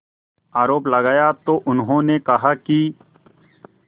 आरोप लगाया तो उन्होंने कहा कि